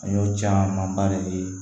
An y'o camanba de ye